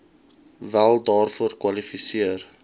wel daarvoor kwalifiseer